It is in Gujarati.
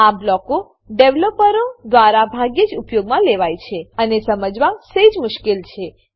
આ બ્લોકો ડેવલોપરો દ્વારા ભાગ્યે જ ઉપયોગમાં લેવાય છે અને સમજવા સેજ મુશ્કેલ છે